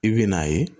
I bɛ n'a ye